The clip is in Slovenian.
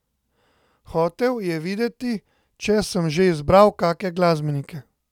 Hotel je vedeti, če sem že izbral kake glasbenike.